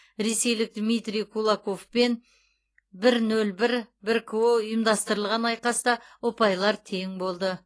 ресейлік дмитрий кулоковпен бір нөл бір бір ко ұйымдастырылған айқаста ұпайлар тең болды